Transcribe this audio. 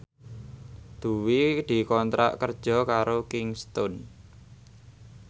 Dwi dikontrak kerja karo Kingston